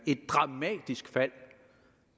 et dramatisk fald og